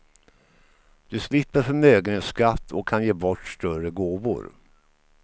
Du slipper förmögenhetsskatt och kan ge bort större gåvor.